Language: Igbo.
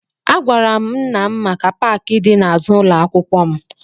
Agwara m nna m maka paakị dị n'azụ ụlọ akwụkwọ m